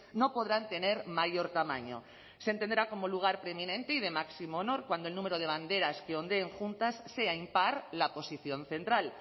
no podrán tener mayor tamaño se entenderá como lugar preeminente y de máximo honor cuando el número de banderas que ondeen juntas sea impar la posición central